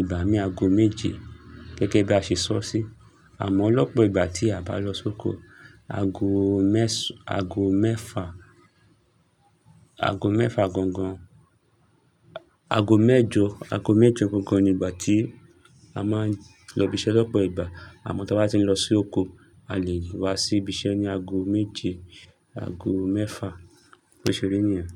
ìgbà mìíràn ago méje gẹ́gẹ́ bí a ṣe sọ sí. Àmọ́ lọ́pọ̀ ìgbà tí a bá lọ sóko ago mẹ́fà, ago mẹ́fà gangan, ago mẹ́jọ, ago mẹ́jọ gangan ni ìgbà tí a máa ń lọ ibiṣẹ́ lọ́pọ̀ ìgbà. Àmọ́ tí a bá ti ń lọ sí oko, a lè wá sí ibiṣẹ́ ní ago méje, ago mẹ́fà, bó ṣe rí nìyẹn.